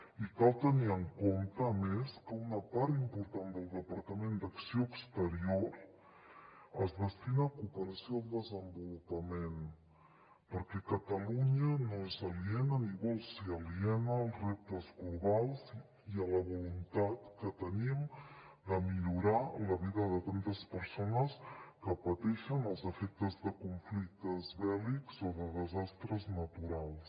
i cal tenir en compte a més que una part important del departament d’acció exterior es destina a cooperació al desenvolupament perquè catalunya no és aliena ni vol ser aliena als reptes globals i a la voluntat que tenim de millorar la vida de tantes persones que pateixen els efectes de conflictes bèl·lics o de desastres naturals